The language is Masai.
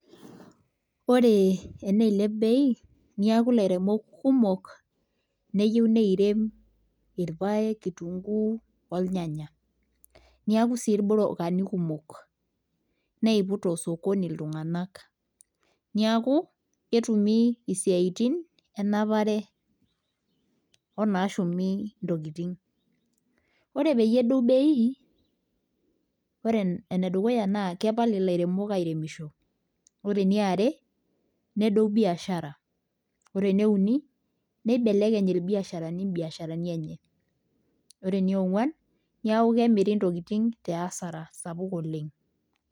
Ore eneilep bei niaku ilairemok kumok neyieu neirem irpayek kitunguu olnyanya niaku sii irbrokani kumok neiput osokoni iltung'anak niaku ketumi isiaitin enapare onashumi intokiting ore peyie edou bei ore enedukuya naa kepal ilairemok airemisho ore eniare nedou biashara ore eneuni neibelekeny ilbiasharani imbiasharani enye ore eniong'uan niaku kemiri intokiting tiasara sapuk oleng.